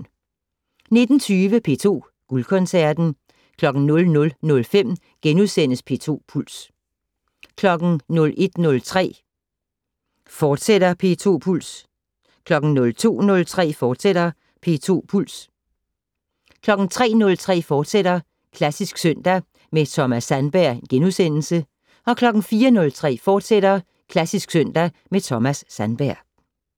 19:20: P2 Guldkoncerten 00:05: P2 Puls * 01:03: P2 Puls, fortsat 02:03: P2 Puls, fortsat 03:03: Klassisk søndag med Thomas Sandberg * 04:03: Klassisk søndag med Thomas Sandberg, fortsat